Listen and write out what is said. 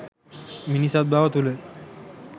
මිනිසත්බව තුළ